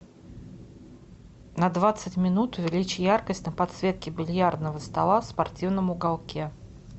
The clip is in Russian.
на двадцать минут увеличь яркость на подсветке бильярдного стола в спортивном уголке